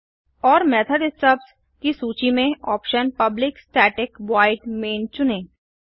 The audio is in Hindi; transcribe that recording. और मेथड स्टब्स की सूची में option public static void main चुनें